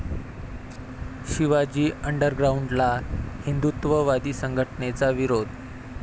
शिवाजी अंडरग्राऊंड'ला हिंदुत्ववादी संघटनेचा विरोध